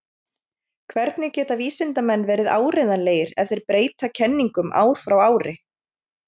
Hvernig geta vísindamenn verið áreiðanlegir ef þeir breyta kenningum ár frá ári?